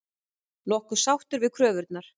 Nokkuð sáttur við kröfurnar